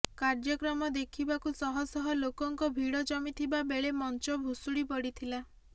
କାର୍ଯ୍ୟକ୍ରମ ଦେଖିବାକୁ ଶହ ଶହ ଲୋକଙ୍କ ଭିଡ଼ ଜମିଥିବା ବେଳେ ମଞ୍ଚ ଭୁଶୁଡ଼ି ପଡ଼ିଥଲା